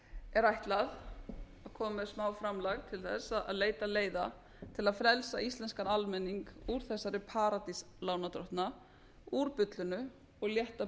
er ætlað að koma með smáframlag til þess að leita leiða til að frelsa íslenskan almenning úr þessari paradís lánardrottna úr bullinu og létta